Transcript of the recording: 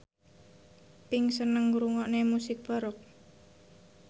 Pink seneng ngrungokne musik baroque